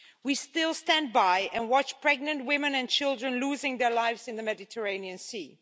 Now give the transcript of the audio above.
We still stand by and watch pregnant women and children losing their lives in the Mediterranean Sea.